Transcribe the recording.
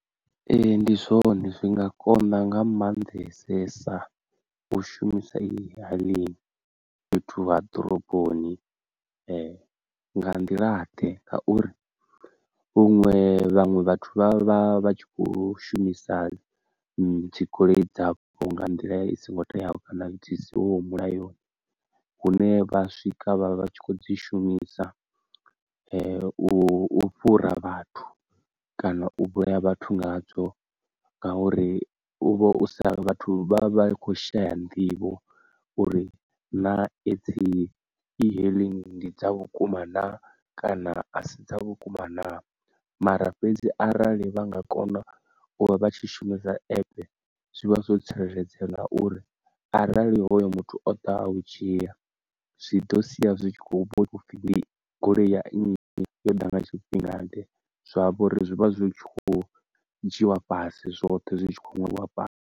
Ee ndi zwone zwi nga konḓa nga maanḓesesa u shumisa e-hailing fhethu ha ḓoroboni, nga nḓila ḓe ngauri vhuṅwe vhaṅwe vhathu vha vha vha tshi khou shumisa dzigoloi dzavho nga nḓila i songo teaho kana zwisi hoho mulayoni hune vha swika vha vha tshi kho dzi shumisa u fhura vhathu kana u vhulaya vhathu nga dzo ngauri u vha u sa vhathu vha vha khou shaya nḓivho uri na edzi e-hailing ndi dza vhukuma na kana a si dza vhukuma, na mara fhedzi arali vha nga kona u vha vha tshi shumisa app zwivha zwo tsireledzea nga uri arali hoyo muthu o ḓaho u u dzhia zwi ḓo sia zwi tshi khou pfha u pfhi ndi goloi ya nnyi yo ḓa nga tshifhinga ḓe zwavho uri zwi vha zwi tshi kho dzhiwa fhasi zwoṱhe zwi tshi kho ṅwalwa fhasi.